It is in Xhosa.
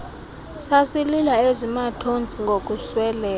sasilila eziirnathontsi ngokusweleka